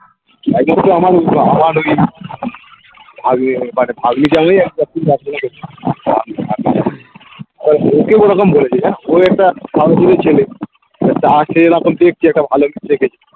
বলেছে জানো ওই একটা সাধাসিধে ছেলে এবার তাকে এরকম দেখছে একটা ভালো কিছু দেখেছে